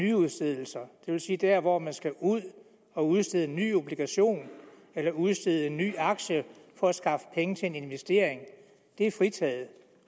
nyudstedelser det vil sige der hvor man skal ud og udstede en ny obligation eller udstede en ny aktie for at skaffe penge til en investering det er fritaget